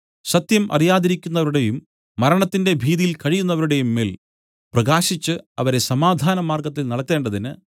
സത്യം അറിയാതിരിക്കുന്നവരുടെയും മരണത്തിന്റെ ഭീതിയിൽ കഴിയുന്നവരുടെയും മേൽ പ്രകാശിച്ച് അവരെ സമാധാനമാർഗ്ഗത്തിൽ നടത്തേണ്ടതിന്